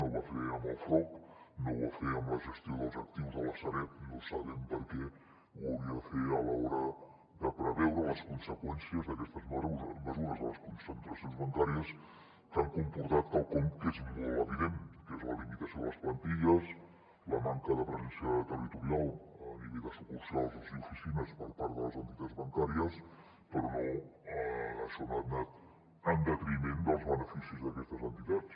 no ho va fer amb el frob no ho va fer amb la gestió dels actius de la sareb no sabem per què ho hauria de fer a l’hora de preveure les conseqüències d’aquestes mesures a les concentracions bancàries que han comportat quelcom que és molt evident que és la limitació de les plantilles la manca de presència territorial a nivell de sucursals i oficines per part de les entitats bancàries però això no ha anat en detriment dels be·neficis d’aquestes entitats